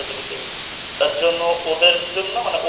তার জন্য ওদের জন্য মানে ও